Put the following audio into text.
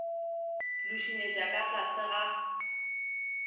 le šunyetša ka tlase ga